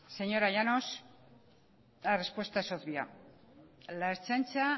señora llanos la respuesta es obvia la ertzaintza